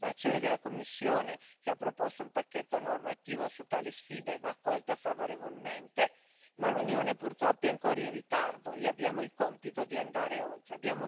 L'azione della Commissione, che ha proposto un pacchetto normativo su tali sfide, va accolta favorevolmente, ma l'Unione purtroppo è ancora in ritardo, e abbiamo il compito di andare oltre.